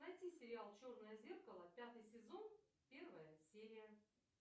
найти сериал черное зеркало пятый сезон первая серия